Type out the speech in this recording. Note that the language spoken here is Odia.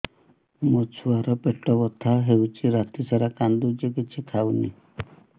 ମୋ ଛୁଆ ର ପେଟ ବଥା ହଉଚି ରାତିସାରା କାନ୍ଦୁଚି କିଛି ଖାଉନି